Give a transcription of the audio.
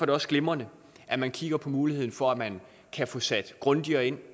det også glimrende at man kigger på muligheden for at man kan få sat grundigere ind